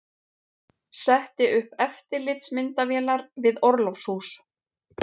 Setti upp eftirlitsmyndavélar við orlofshús